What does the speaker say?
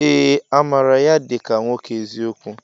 Ee! Amaara ya dịka nwoke eziokwu.